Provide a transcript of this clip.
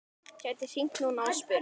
Gæti hringt núna og spurt.